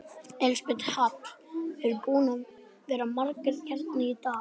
Elísabet Hall: Eru búnir að vera margir hérna í dag?